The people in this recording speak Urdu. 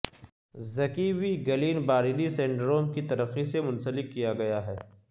زکی بھی گلین باریری سنڈروم کی ترقی سے منسلک کیا گیا ہے